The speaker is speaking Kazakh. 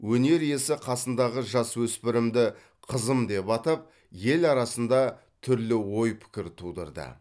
өнер иесі қасындағы жасөспірімді қызым деп атап ел арасында түрлі ой пікір тудырды